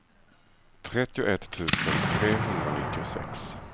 trettioett tusen trehundranittiosex